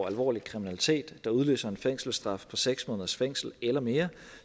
alvorlig kriminalitet der udløser en fængselsstraf på seks måneders fængsel eller mere